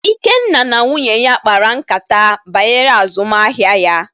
Ikenna na nwunye ya kpara nkátá banyere azụmahịa ya.